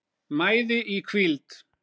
mæði í hvíld